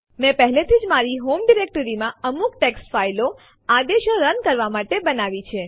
મેં પહેલેથી જ મારી હોમ ડિરેક્ટરીમાં અમુક ટેક્સ્ટ ફાઈલો આદેશો રન કરવા માટે બનાવી છે